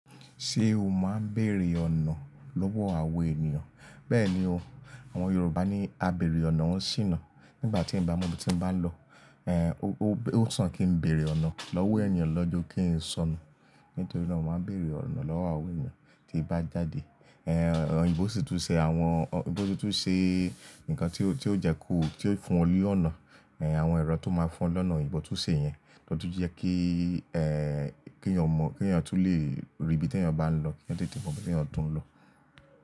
Ṣé o máa ń bèrè ọ̀nà lọ́wọ́ àwọn ènìyàn? Bẹ́ẹ̀ni o, àwọn Yorùbá ní, "A bèrè ọ̀nà ń ṣìnà". Nígbà tí mo ebi ti bá ń lọ, ó sàn kí n bèrè ọ̀nà lọ́wọ́ ènìyàn lọ́ ju kí n sọnù. Nítorí náà, mo máa ń bèrè ọ̀nà lọ́wọ́ àwọn ènìyàn tí bá jáde. Ẹ̀ẹ̀h, òyìnbó sì tún ṣe àwọn, òyìnbó tún ṣe nǹkan tí ó jẹ́ kó fún ọ lé ọ̀nà. Ẹ̀ẹ̀h, àwọn ẹ̀rọ tó máa ń fún ọ lọ́nà òyìnbó tún ṣe yẹn, ló tún jẹ́ kí, ẹ́ẹ̀h, kí ènìyàn mọ̀, kí ènìyàn tún lè rí ibi tí ènìyàn bá ń lọ, kí ènìyàn tètè mọ ibi tí ènìyàn tún ń lọ.